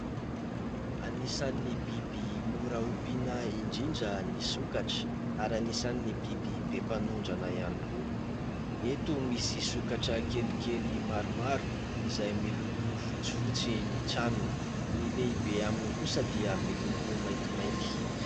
Anisan'ny biby mora ompiana indrindra ny sokatra ary anisan'ny biby be mpanondrana ihany koa. Eto misy sokatra kelikely maromaro izay miloko fotsifotsy ny tranony. Ny lehibe aminy kosa dia miloko maintimainty.